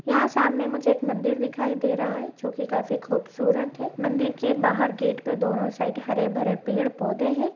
यहाँ सामने मुझे एक मंदिर दिखाई दे रहा है जो की काफी खूबसूरत है। मंदिर के बाहर गेट पे दोनों साईड हरे भरे पेड़ पौधे है।